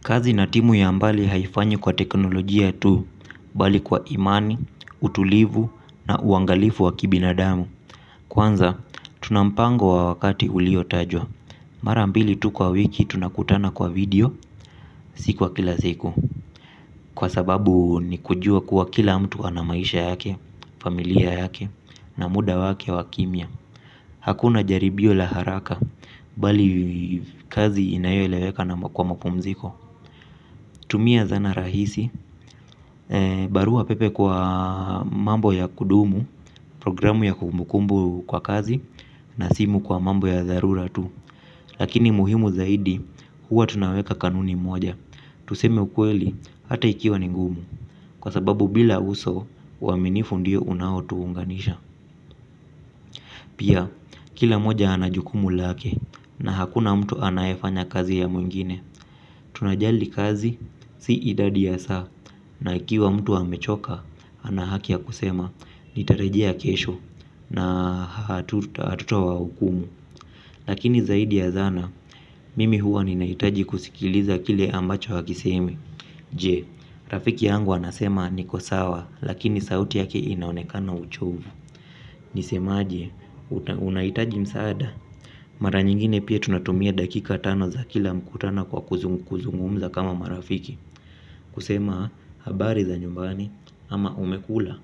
Kazi na timu ya mbali haifanyi kwa teknolojia tu bali kwa imani, utulivu na uangalifu wa kibinadamu. Kwanza, tuna mpango wa wakati ulio tajwa. Mara mbili tu kwa wiki tunakutana kwa video siku kwa kila siku. Kwa sababu ni kujua kuwa kila mtu ana maisha yake, familia yake na muda wake wakimya. Hakuna jaribio la haraka bali kazi inayoeleweka na kwa mapumziko. Tumia zana rahisi barua pepe kwa mambo ya kudumu programu ya kumbukumbu kwa kazi na simu kwa mambo ya dharura tu. Lakini muhimu zaidi huwa tunaweka kanuni moja. Tuseme ukweli hata ikiwa ni ngumu kwa sababu bila uso uaminifu ndio unao tuunganisha. Pia kila mmoja ana jukumu lake na hakuna mtu anayefanya kazi ya mwingine. Tunajali kazi si idadi ya saa na ikiwa mtu amechoka ana haki ya kusema nitarejea kesho na hatuta wahukumu. Lakini zaidi ya zana mimi huwa ninahitaji kusikiliza kile ambacho hakisemi je, rafiki yangu anasema niko sawa lakini sauti yake inaonekana uchovu nisemaje? Unahitaji msaada. Mara nyingine pia tunatumia dakika tano za kila mkutano kwa kuzungumza kama marafiki. Kusema habari za nyumbani ama umekula.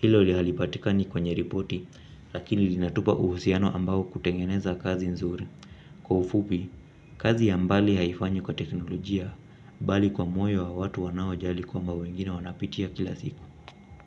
Hilo halipatikani kwenye ripoti. Lakini linatupa uhusiano ambao hutengeneza kazi nzuri kwa ufupi kazi ya mbali haifanywi kwa teknolojia bali kwa moyo wa watu wanao jali kwamba wengine wanapitia kila siku.